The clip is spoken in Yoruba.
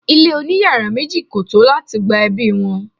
ile oni iyara meji ko to lati gba ebi won